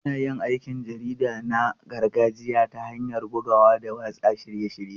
Ana yin aikin jarida na gargajiya ta hanyar bugawa da watsa shirye-shirye.